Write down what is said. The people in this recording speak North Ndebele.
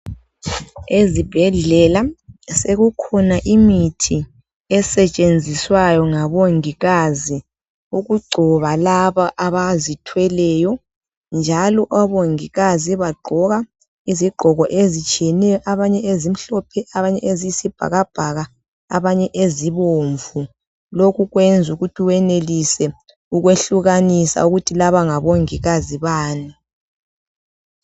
Ezibhedlela sekukhona imithi esetshenziswayo ngomongikazi ukugcoba laba abazithweleyo Njalo omongikazi bagqoka izigqoko ezitshiyeneyo .Abanye ezimhlophe, abanye eziyisibhakabhaka, abanye ezibomvu. Lokhu kwenza ukuthi wenelise ukwehlukanisa ukuthi laba ngomongikazi bani.